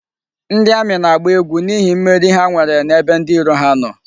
Ndi Ami na-agba egwu n'ihi mmeri ha nwere n'ebe ndi iro ha no